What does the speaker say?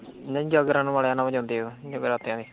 ਨਹੀਂ ਜਾਗਰਣ ਵਾਲਿਆ ਨਾਲ ਜਾਂਦੇ ਉਹ ਜਗਰਾਤਿਆ ਚ।